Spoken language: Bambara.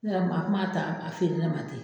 Ne yɛrɛ kuma ,a kuma ta a feere ne ma ten.